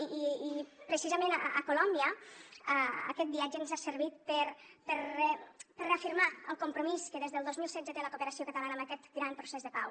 i precisament a colòmbia aquest viatge ens ha servit per reafirmar el compromís que des del dos mil setze té la cooperació catalana amb aquest gran procés de pau